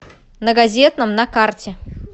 на газетном на карте